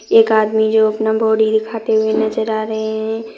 एक आदमी जो अपना बॉडी दिखाते हुए नजर आ रहे हैं।